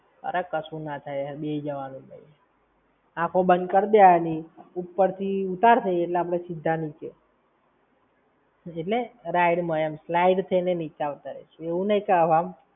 અરે કશું ના થાય, હેડ બેઈ જવાનું ભૈ. આંખો બંદ કરદેવાની ઉપર થી ઉતારશે એટલે સીધા નીચે. એટલે ride માં એમ, slide થઇ ને નીચે આવતા રાઈશુ. એવું નઈ કે હવા માં